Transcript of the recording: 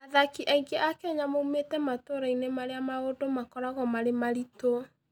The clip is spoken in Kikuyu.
Athaki aingĩ a Kenya moimĩte matũũra-inĩ marĩa maũndũ makoragwo marĩ maritũ.